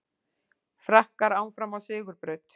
Frakkar áfram á sigurbraut